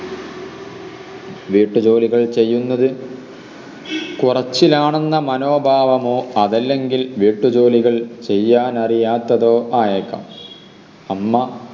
വീട്ട് ജോലികൾ ചെയ്യുന്നത് കൊറച്ചിലാണെന്ന മനോഭാവമോ അതല്ലെങ്കിൽ വീട്ടു ജോലികൾ ചെയ്യാനറിയാത്തതോ ആയേക്കാം അമ്മ